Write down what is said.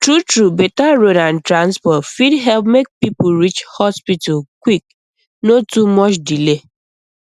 truetrue better road and transport fit help make people reach hospital quick no too much delay